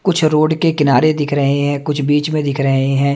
कुछ रोड के किनारे दिख रहे हें कुछ बिच में दिख रहे हैं।